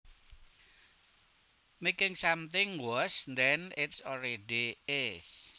making something worse than it already is